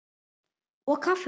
Og kaffið hans?